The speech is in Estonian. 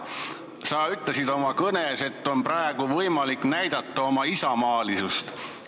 Sa ütlesid oma kõnes, et praegu on võimalik näidata oma isamaalisust.